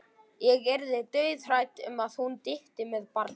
Ég yrði dauðhrædd um að hún dytti með barnið.